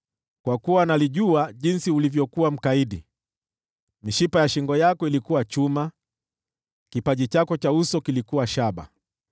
Kwa kuwa nalijua jinsi ulivyokuwa mkaidi; mishipa ya shingo yako ilikuwa chuma, kipaji chako cha uso kilikuwa shaba.